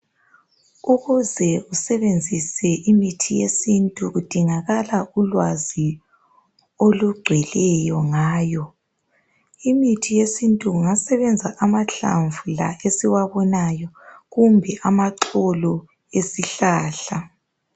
Ukuze usebenzise imithi yesintu kudingakala ulwazi olugcweleyo ngayo, imithi yesintu kungasebenza amahlamvu la esiwabonayo kumbe amaxolo esihlahla.